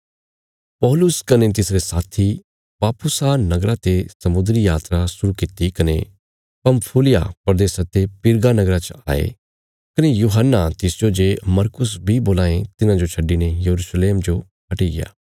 पौलुस कने तिसरे साथी पाफुसा नगरा ते समुद्री यात्रा शुरु कित्ती कने पंफूलिया प्रदेशा ते पिरगा नगरा च आये कने यूहन्ना तिसजो जे मरकुस बी बोलां ये तिन्हांजो छड्डिने यरूशलेम जो हटिग्या